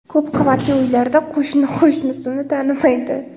Ko‘p qavatli uylarda qo‘shni qo‘shnisini tanimaydi.